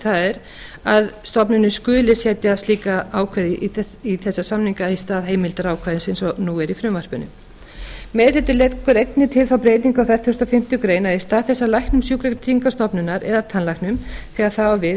er að stofnunin skuli setja slík ákvæði í þessa samninga í stað heimildarákvæðis eins og nú er í frumvarpinu meiri hlutinn leggur einnig til þá breytingu á fertugasta og fimmtu grein að í stað þess að læknum sjúkratryggingastofnunar eða tannlæknum þegar það á við